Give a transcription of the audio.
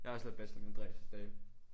Jeg har også lavet bachelor med Andreas i dag